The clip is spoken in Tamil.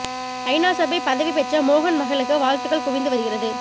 ஐநா சபை பதவி பெற்ற மோகன் மகளுக்கு வாழ்த்துக்கள் குவிந்து வருகிறது